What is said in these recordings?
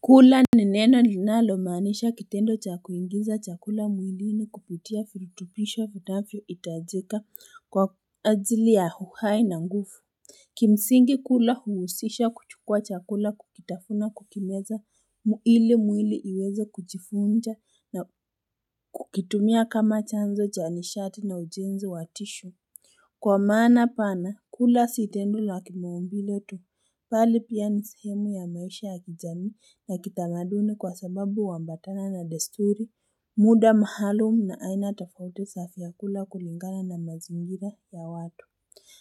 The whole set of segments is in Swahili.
Kula ni neno linalomanisha kitendo cha kuinginza chakula mwili na kupitia furitupishwa vinafyo itajika kwa azili ya uhai na nguvu Kimsingi kula huusisha kuchukua chakula kukitafuna kukimeza mwili mwili iweza kujifunja na kukitumia kama chanzo janishati na ujenzi watisho Kwa maana pana, kula sitendu la kimaumbiletu, pali pia nisihemu ya maisha ya kijani na kitamaduni kwa sababu wambatana na desturi, muda mahalo na aina tafote safi ya kula kulingana na mazingira ya watu.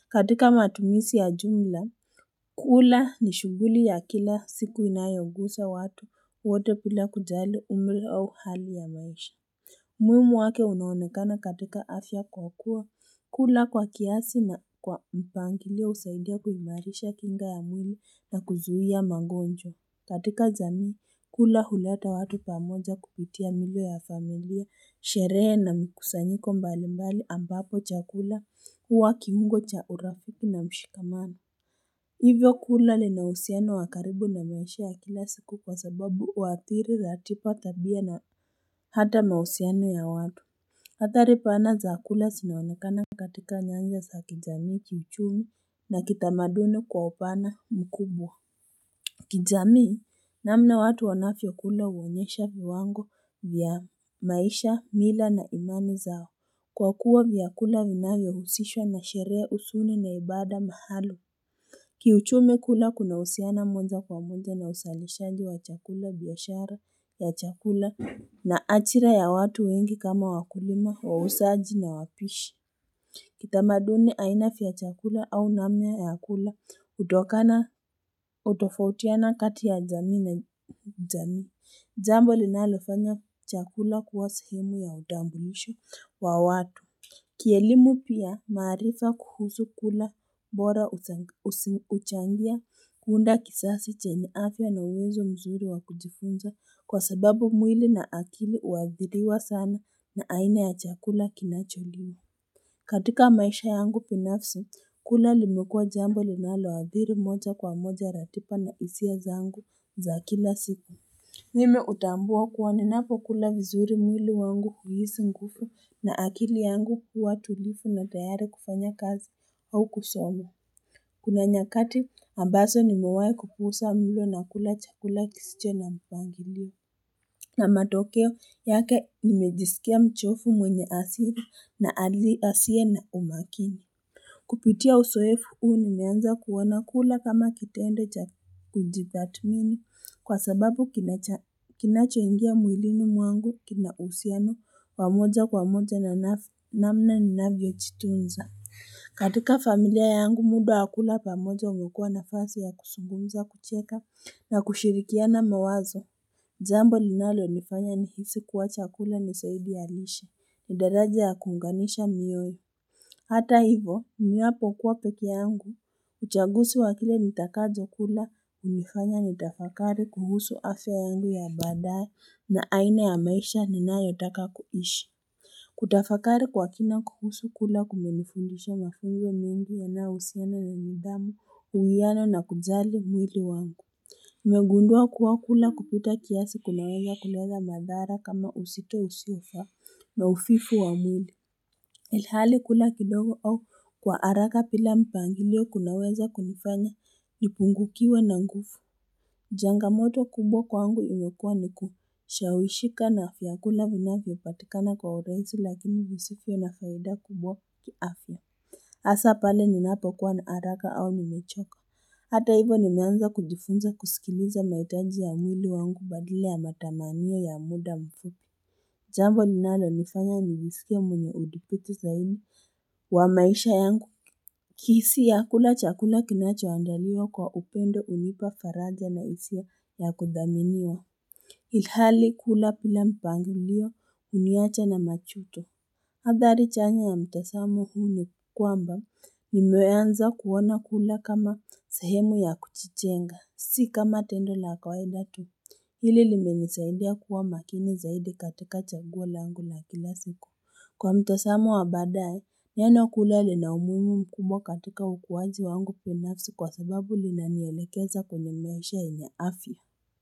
Katika matumisi ya jumla, kula ni shughuli ya kila siku inayogusa watu wote pila kujali umili au hali ya maisha. Mwimi wake unaonekana katika afya kwa kuwa, kula kwa kiasi na kwa mpangile usaidia kuzimarisha kinga ya mwili na kuzuhia mangonjo. Katika zani, kula huleta watu pamoja kupitia milo ya familia, sherehe na mikusanyiko mbalimbali ambapo cha kula huwa kimungo cha urafipi na mshikamana. Hivyo kula linausiano wakaribu na mwoshia ya kila siku kwa sababu watiri za atipa tabia na hata mausiano ya watu. Hatari pana zaakula sinawanakana katika nyangya za kijami kichumi na kitamaduni kwa upana mkubwa. Kijami namna watu wanafyo kula uonyesha viwango vya maisha, mila na imani zao. Kwakuwa viyakula vinagya husishwa na sherea usuni na ibada mahalo. Kiuchume kula kuna usiana mwanza kwa mwanza na usalishaji wa chakula biashara ya chakula na achira ya watu wengi kama wakulima wa usaji na wapishi Kitamaduni ainafi ya chakula au namya ya kula utokana utofautiana kati ya jami na jami Jambo linalifanya chakula kuwasu himu ya udambulisho wa watu Kielimu pia maarifa kuhusu kula mbora uchangia kuunda kisasi cheniafya na uwezo mzuri wa kujifunza kwa sababu mwili na akili uadhiriwa sana na aina ya chakula kinacholiwa katika maisha yangu pinafsi kula limekua jambo linaloadhiri moja kwa moja ratipa na isi ya zangu za kila sipa Mime utambua kuwane napo kula vizuri mwili wangu kuhisi ngufu na akili yangu kuwa tulifu na tayare kufanya kazi au kusolo. Kuna nyakati ambaso nimewae kupusa mwilo na kula cha kula kisicho na mpangiliu. Na matokeo yake nimejisikia mchofu mwenye asili na aliasia na umakini. Kupitia usoefu uni meanza kuwana kula kama kitendo cha tujibatmini kwa sababu kinacho ingia mwilini mwangu kina usiano pamoja kwa moja na namna ni navyo chitunza. Katika familia yangu muda akula pamoja ungekua na fasi ya kusugumza kucheka na kushirikia na mawazo. Zambo linalo nifanya ni hisi kuwacha kula ni saidi alishi. Ndaraja ya kunganisha miyo. Hata hivo, miwapo kuwa peke yangu, uchagusi wa kile nitakadzo kula, unikanya nitafakari kuhusu afya yangu ya badaye na aina ya maisha ninayotaka kuishi. Kutafakari kwa kina kuhusu kula kumelifundisha mafengi mingi yana useno ya mindamu, uwiyano na kudzali mwili wangu. Megundua kuwa kula kupita kiasi kunaweza kuleza madharau kama usito usufa na ufifu wa mwili. Ilhali kula kidogo au kwa haraka pila mpangilio kunaweza kunifanya nipungukiwe na ngufu. Changamoto kubwa kwangu unyokua ni kushawishika na afiakula vinafipatikana kwa oraitu lakini visifion na faida kubwa tuafwa. Asa pale ninapo kwa na araka au mimechoko. Hata hivo ninyanza kujifunza kusikiliza maitaji ya mwili wangu badile ya matamaniyo ya muda mfuku. Jambo dinalo nifanya nivisikia mwenye udipiti zaidi wa maisha yangu Kisi ya kula chakula kinacho andalio kwa upendo unipa karaja na isio ya kudhaminiwa Ilhali kula pila mpango liyo uniacha na machuto Adhari change ya mtesamu huni kwamba Nimeweanza kuwaona kula kama sahemu ya kuchichenga Si kama tendo la kwaedatu Hili limimisaidia kuwa makini zaidi katika chagula angu na kila siku. Kwa mtosamu wabadae, nyanokulele na umumu mkubwa katika ukuwazi wangu binafsi kwa sababu linaniyelekeza kwenye nesha inya afya.